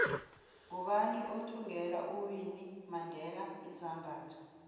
ngubani othvngela uwinnie mandela izambatho